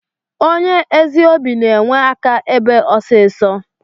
Onye ezi obi na enwe aka ebe osisọ.